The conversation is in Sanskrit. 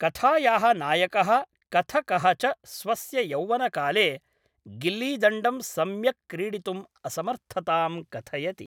कथायाः नायकः कथकः च स्वस्य यौवनकाले गिल्लीदण्डं सम्यक् क्रीडितुम् असमर्थतां कथयति।